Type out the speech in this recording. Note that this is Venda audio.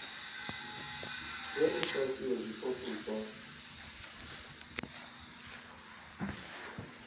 ya ifhasi ya zwipotso zwa